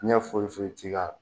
Diyɛn foyi foyi ti k'ala